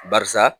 Barisa